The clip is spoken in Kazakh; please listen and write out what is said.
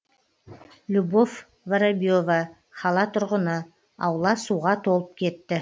любовь воробьева қала тұрғыны аула суға толып кетті